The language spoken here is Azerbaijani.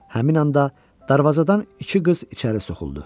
Həmin anda darvazadan iki qız içəri soxuldu.